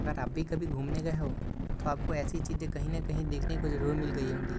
और आप भी कभी घूमने गए हों तो आपको ऐसी चीजें कहीं न कहीं देखने को जरूर मिल गई होंगी |